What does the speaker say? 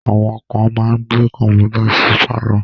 Àwọn kán máa ń gbé Kọ́mpútà sí pálọ̀